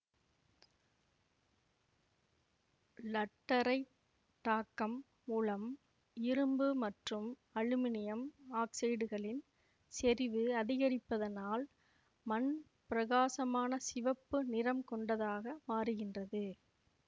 லட்டரைட்டாக்கம் மூலம் இரும்பு மற்றும் அலுமினியம் ஆக்சைட்டுகளின் செறிவு அதிகரிப்பதனால் மண் பிரகாசமான சிவப்பு நிறம் கொண்டதாக மாறுகின்றது